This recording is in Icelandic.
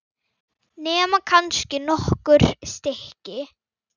Nema kannski nokkur stykki.